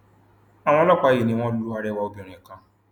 àwọn ọlọpàá yìí ni wọn lo arẹwà obìnrin kan